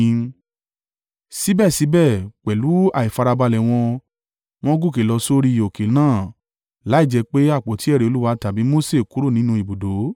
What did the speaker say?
Síbẹ̀síbẹ̀, pẹ̀lú àìfarabalẹ̀ wọn, wọ́n gòkè lọ sórí òkè náà, láìjẹ́ pé àpótí ẹ̀rí Olúwa tàbí Mose kúrò nínú ibùdó.